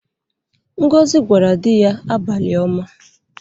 Ngozi gwara di ya abalị-oma.